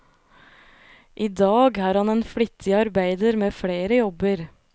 I dag er han en flittig arbeider med flere jobber.